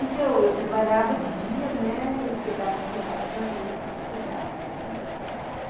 Então, eu trabalhava de dia, né, e pegava os horários da noite de estudar, uhum.